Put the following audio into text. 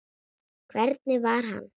Hvernig var hann?